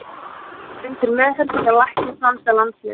Hann hefur verið undir meðhöndlun hjá læknum franska landsliðsins.